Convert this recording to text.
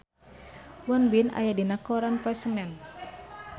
Won Bin aya dina koran poe Senen